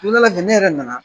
Don dɔ la kɛ , ne yɛrɛ nana